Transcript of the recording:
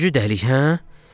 Üçüncü dəlik, hə?